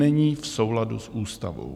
Není v souladu s ústavou.